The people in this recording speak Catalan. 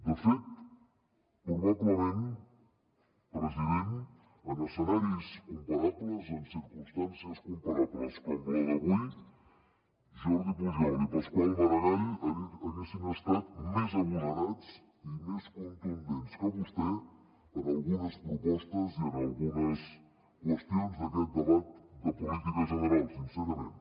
de fet probablement president en escenaris comparables en circumstàncies comparables com la d’avui jordi pujol i pasqual maragall haguessin estat més agosarats i més contundents que vostè en algunes propostes i en algunes qüestions d’aquest debat de política general sincerament